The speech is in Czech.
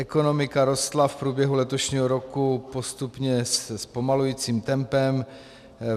Ekonomika rostla v průběhu letošního roku postupně se zpomalujícím tempem.